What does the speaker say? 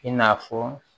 I n'a fɔ